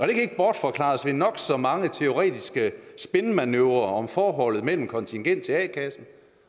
det kan ikke bortforklares ved nok så mange teoretiske spinmanøvrer om forholdet mellem kontingent til a kassen